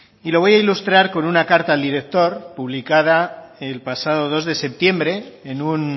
y lo voy a ilustrar con una carta al director publicada el pasado dos de septiembre en un